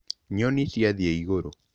Nyoni ciathiĩ igũrũ.